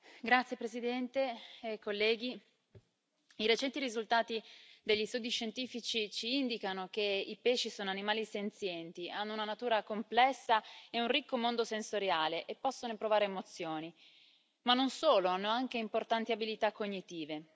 Signor Presidente, onorevoli colleghi, i recenti risultati degli studi scientifici ci indicano che i pesci sono animali senzienti hanno una natura complessa e un ricco mondo sensoriale e possono provare emozioni, ma non solo, hanno anche importanti abilità cognitive.